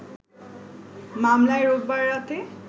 মামলায় রোববার রাতে